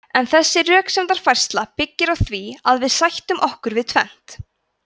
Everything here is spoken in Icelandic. en þessi röksemdafærsla byggir á því að við sættum okkur við tvennt